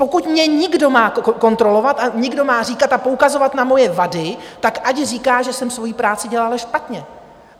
Pokud mě někdo má kontrolovat a někdo má říkat a poukazovat na moje vady, tak ať říká, že jsem svoji práci dělala špatně.